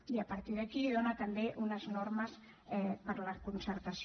i a partir d’aquí dóna també unes normes per a la concertació